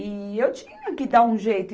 E eu tinha que dar um jeito.